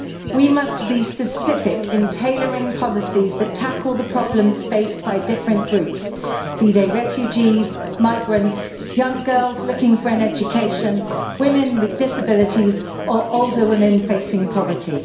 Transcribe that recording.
We must be specific in tailoring policies that tackle the problems faced by different groups, be they refugees, migrants, young girls looking for an education, women with disabilities, or older women facing poverty.